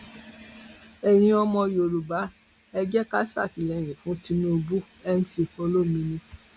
ẹyin ọmọ yorùbá ẹ jẹ ká ṣàtìlẹyìn fún tinubu mc olomini